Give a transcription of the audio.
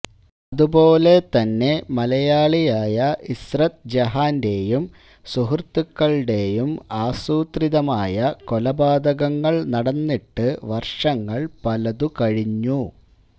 അതുപോലെ തന്നെ മലയാളിയായ ഇസ്രത് ജഹാന്റെയും സുഹൃത്തുക്കളുടെയും ആസൂത്രിതമായ കൊലപാതകങ്ങള് നടന്നിട്ടു വര്ഷങ്ങള് പലതു കഴിഞ്ഞു